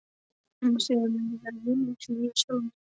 Um stund vil ég eiga vitneskjuna fyrir sjálfa mig.